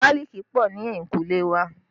Gálíìkì pọ̀ ní ehinkule wa